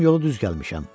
yolu düz gəlmişəm.